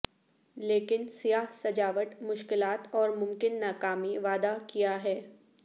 لیکن سیاہ سجاوٹ مشکلات اور ممکن ناکامی وعدہ کیا ہے